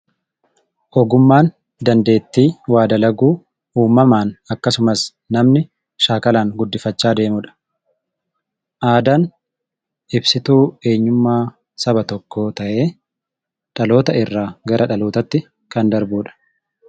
Ogummaan dandeettii namni waa dalaguu uumamaan akkasumas shaakalaan guddifachaa deemuudha. Aadaan ibsituu eenyummaa saba tokkoo ta'ee dhaloota irraa gara dhalootaatti kan darbudha.